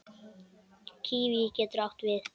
Kíví getur átti við